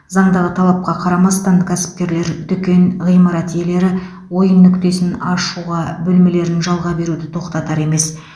заңдағы талапқа қарамастан кәсіпкерлер дүкен ғимарат иелері ойын нүктесін ашуға бөлмелерін жалға беруді тоқтатар емес